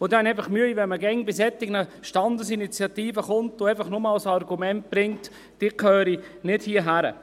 Ich habe Mühe, wenn man bei solchen Standesinitiativen kommt und als Argument nur anbringt, sie gehörten nicht hierhin.